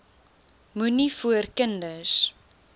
moenie voor kinders